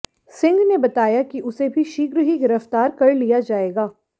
सिंह ने बताया कि उसे भी शीघ्र ही गिरफ्तार कर लिया जाएगा